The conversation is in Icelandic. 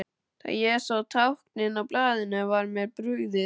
Þegar ég sá táknin á blaðinu var mér brugðið.